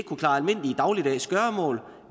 kunne klare almindelige dagligdags gøremål